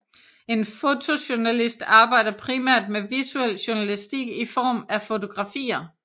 En fotojournalist arbejder primært med visuel journalistik i form af fotografier